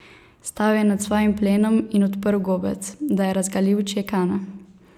Stal je nad svojim plenom in odprl gobec, da je razgalil čekane.